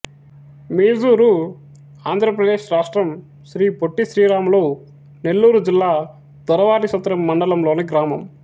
మీజూరు ఆంధ్ర ప్రదేశ్ రాష్ట్రం శ్రీ పొట్టి శ్రీరాములు నెల్లూరు జిల్లా దొరవారిసత్రం మండలంలోని గ్రామం